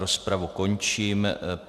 Rozpravu končím.